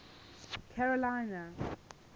carolina